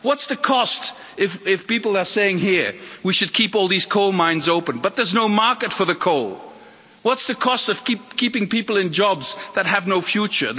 What's the cost if people are saying here, we should keep all these coal mines open, but there's no market for the coal what's the cost of keeping people in jobs that have no future?